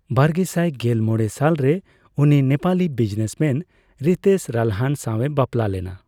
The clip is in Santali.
ᱵᱟᱨᱜᱮᱥᱟᱭ ᱜᱮᱞ ᱢᱚᱲᱮ ᱥᱟᱞ ᱨᱮ, ᱩᱱᱤ ᱱᱮᱯᱟᱞᱤ ᱵᱤᱡᱱᱮᱥᱢᱮᱱ ᱦᱤᱛᱮᱥ ᱨᱟᱞᱦᱟᱱ ᱥᱟᱣ ᱮ ᱵᱟᱯᱞᱟ ᱞᱮᱱᱟ ᱾